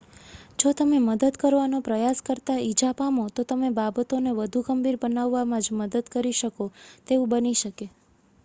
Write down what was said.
જો તમે મદદ કરવાનો પ્રયાસ કરતા ઈજા પામો તો તમે બાબતોને વધુ ગંભીર બનાવવામાં જ મદદ કરી શકો તેવું બની શકે